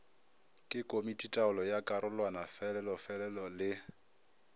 ke komititaolo ya karolwanafeloolefe le